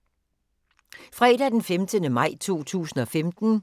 Fredag d. 15. maj 2015